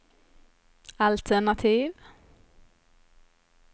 altenativ